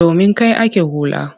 Domin kai ake hula.